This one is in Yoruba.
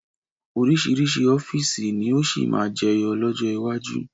Oríṣiríṣi ọ́fíìsì ni ó sì máa jẹyọ lọ́jọ́ iwájú